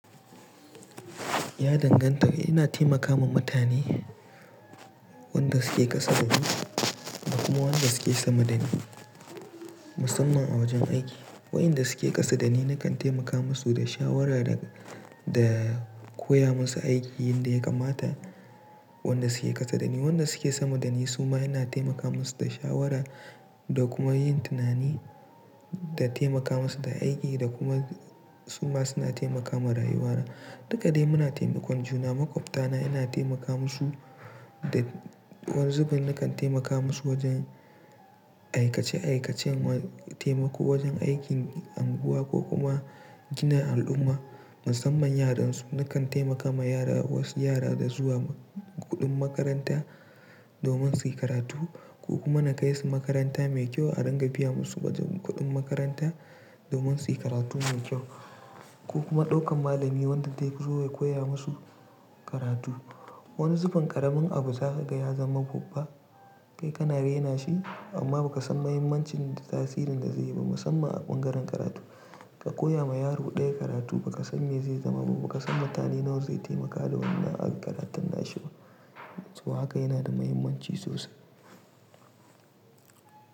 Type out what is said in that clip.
Ya danganta. Ina taimaka wa mutane wanda suke ƙasa da ni da kuma wanda suke sama da ni musamman a wajen aiki. Waɗanda suke ƙasa da ni na kan taimaka musu da shawara da, da koya musu aiki yadda ya kamata. Waɗanda suke ƙasa da ni, waɗanda suke sama da ni suma ina taimaka musu da shawara da kuma yin tunani da taimaka musu da aiki da kuma suma suna taimaka ma rayuwana. Duka dai muna taimakon juna. Maƙwabta na ina taimaka musu da wasu zubin nakan taimaka musu wajen aikace-aikacen taimako wajen aikin unguwa ko kuma gina al'umma musamman yaran su. Nakan taimaka ma yara, wasu yara da zuwa kuɗin makaranta domin suyi karatu ko kuma na kai su makaranta mai kyau a ringa biya musu da kuɗin makaranta domin suyi karatu mai kyau ko kuma ɗaukan malami wanda zai zo ya koya musu karatu. Wani zubin ƙaramin abu za ka ga ya zama babba. Kai kana rena shi amma ba ka san mahimmancin da tasirin da zai yi ba musamman a bangaren karatu. Ka koya ma yaro ɗaya karatu ba ka san me zai zama ba, ba ka san mutane nawa zai taimaka da wannan a ƙaraton ashewa. To haka yana da mahimmanci sosai.